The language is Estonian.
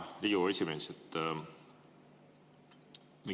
Hea Riigikogu esimees!